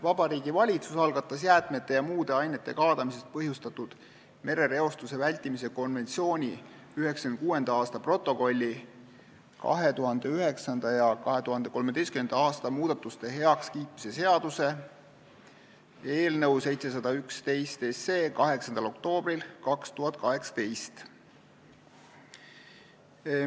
Vabariigi Valitsus algatas jäätmete ja muude ainete kaadamisest põhjustatud merereostuse vältimise konventsiooni 1996. aasta protokolli 2009. ja 2013. aasta muudatuste heakskiitmise seaduse eelnõu 8. oktoobril 2018.